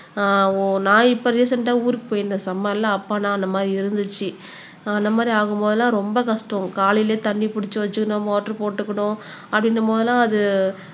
ஆஹ் ஒ நான் இப்ப ரீசென்ட்ட ஊருக்கு போயிருந்தேன் சம்மர்ல அப்ப நான் அந்த மாதிரி இருந்துச்சு அந்த மாதிரி ஆகும் போதெல்லாம் ரொம்ப கஷ்டம் காலையிலேயே தண்ணி புடிச்சு வச்சுக்கணும் மோட்டார் போட்டுக்கணும் அப்பிடீன்றபோதெல்லாம் அது